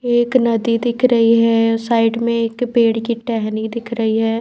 एक नदी दिख रही है साइड में एक पेड़ की टहनी दिख रही है।